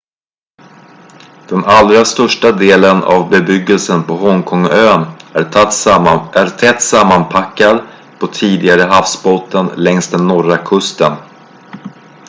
den allra största delen av bebyggelsen på hongkong-ön är tätt sammanpackad på tidigare havsbotten längs den norra kusten